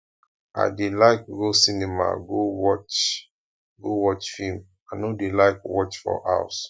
i dey like go cinema go watch go watch film i no dey like watch for house